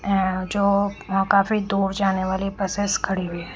अह जो अह काफी दूर जाने वाली बसेस खड़ी हुई है।